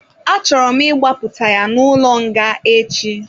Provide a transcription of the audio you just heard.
A chọrọ m ịgbapụta ya n'ụlọ nga echi.